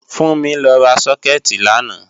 Fúnmi lọ ra sókẹ̀tì làná